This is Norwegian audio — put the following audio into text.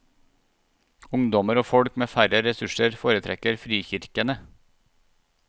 Ungdommer og folk med færre ressurser foretrekker frikirkene.